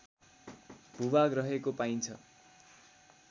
भूभाग रहेको पाइन्छ